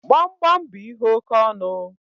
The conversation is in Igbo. Gbamgbam bú ihe oke ọnụ